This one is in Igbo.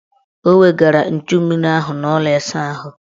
O wegara nchummiri ahụ n' ụlọ ịsaahụ.